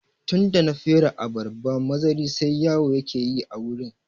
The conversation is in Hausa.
Tunda na fere abarba mazari sai yawo yake ta yi a wurin